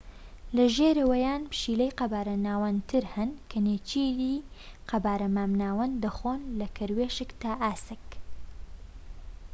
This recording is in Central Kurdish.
لە ژێرەوەیان پشیلەی قەبارە ناوەندتر هەن کە نێچیری قەبارە مام ناوەند دەخۆن لە کەروێشک تا ئاسک